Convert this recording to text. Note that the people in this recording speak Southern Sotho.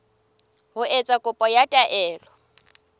ho etsa kopo ya taelo